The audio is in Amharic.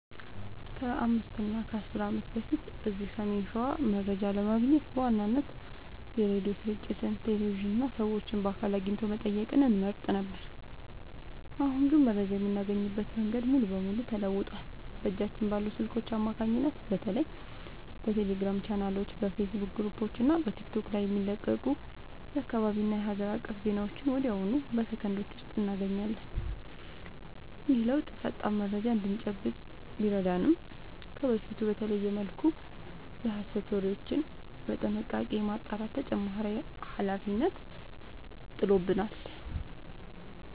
ከ5 እና 10 ዓመት በፊት እዚህ ሰሜን ሸዋ መረጃ ለማግኘት በዋናነት የሬዲዮ ስርጭቶችን፣ ቴሌቪዥንን እና ሰዎችን በአካል አግኝቶ መጠየቅን እንመርጥ ነበር። አሁን ግን መረጃ የምናገኝበት መንገድ ሙሉ በሙሉ ተለውጧል። በእጃችን ባሉ ስልኮች አማካኝነት በተለይ በቴሌግራም ቻናሎች፣ በፌስቡክ ግሩፖች እና በቲክቶክ ላይ የሚለቀቁ የአካባቢና የሀገር አቀፍ ዜናዎችን ወዲያውኑ በሰከንዶች ውስጥ እናገኛለን። ይህ ለውጥ ፈጣን መረጃ እንድንጨብጥ ቢረዳንም፣ ከበፊቱ በተለየ መልኩ የሐሰት ወሬዎችን በጥንቃቄ የማጣራት ተጨማሪ ኃላፊነት ጥሎብናል።